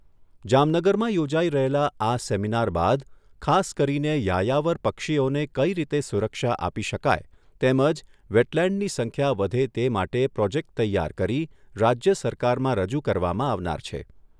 જામનગરમાં યોજાઈ રહેલા આ સેમિનાર બાદ ખાસ કરીને યાયાવર પક્ષીઓને કઈ રીતે સુરક્ષા આપી શકાય તેમજ વેટલેન્ડની સંખ્યા વધે તે માટે પ્રોજેકટ તૈયાર કરી રાજ્ય સરકારમાં રજૂ કરવામાં આવનાર છે.